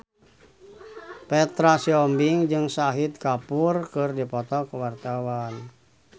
Petra Sihombing jeung Shahid Kapoor keur dipoto ku wartawan